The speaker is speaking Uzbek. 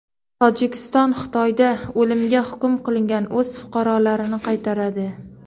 Tojikiston Xitoyda o‘limga hukm qilingan o‘z fuqarolarini qaytaradi.